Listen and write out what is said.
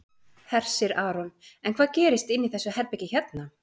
Hersir Aron: En hvað gerist inni í þessu herbergi hérna?